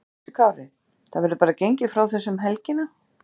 Höskuldur Kári: Það verður bara gengið frá þessu um helgina?